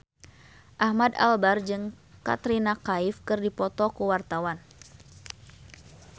Ahmad Albar jeung Katrina Kaif keur dipoto ku wartawan